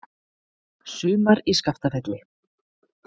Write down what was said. Sumar í Skaftafelli.